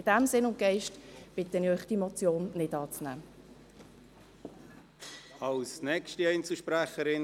In diesem Sinn und Geist bitte ich Sie, diese Motion nicht anzunehmen.